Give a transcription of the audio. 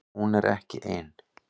Hún er ekki ein